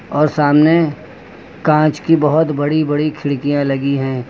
और सामने कांच की बहुत बड़ी बड़ी खिड़कियां लगी हैं।